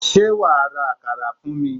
Sé wàá ra àkàrà fún mi?